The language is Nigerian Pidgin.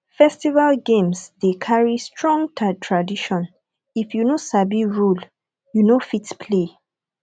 festival games dey carry strong tradition if you no sabi rule you no fit play